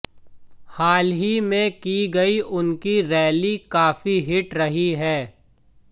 हाल ही में की गई उनकी रैली काफी हिट रही हैं